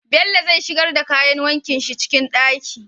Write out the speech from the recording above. Bello zai shigar da kayan wankin shi ciki ɗaki